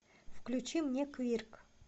включи мне квирк